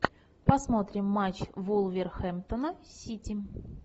посмотрим матч вулверхэмптона с сити